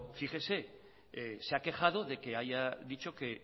fíjese se ha quejado de que haya dicho que